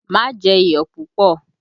Má jẹ iyọ̀ púpọ̀!